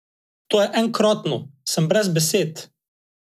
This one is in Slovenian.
To je enkratno, sem brez besed.